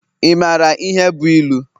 Ị mara ihe bụ ilu?